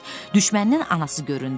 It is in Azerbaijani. Nəhayət, düşməninin anası göründü.